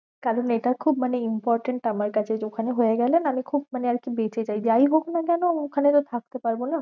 কারণ এটা খুব মানে important আমার কাছে যে ঐখানে হয়েগেলে না আমি খুব মানে আর কি বেচে যায়ি, যাইহোক না কেন ঐখানে তো থাকতে পারব না।